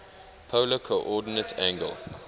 polar coordinate angle